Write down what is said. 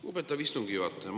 Lugupeetav istungi juhataja!